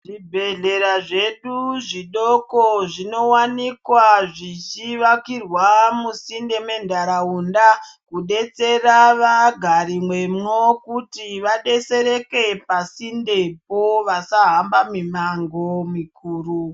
Zvebhehlera zvedu zvidoko zvinowanikwa zvichiakirwa musinde menharaunda kudetsera vagari vemo kuti vadetsereke pasindepo kuti vasahamba mumango mikuru.